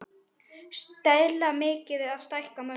Stilla miðið eða stækka mörkin?